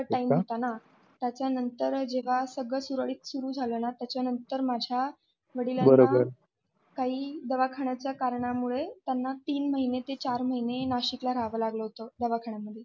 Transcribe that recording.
कोरोनाचा time होता ना, त्याच्यानंतर जेव्हा सगळं सुरळीत सुरू झालं त्यानंतर माझ्या वडिलांना काही दवाखान्याच्या कारणामुळे त्यांना तीन महिने ते चार महिने नाशिकला राहावं लागलं होतं दवाखान्या मध्ये.